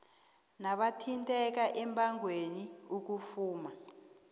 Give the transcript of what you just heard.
nabathinteka embangweni ukufuma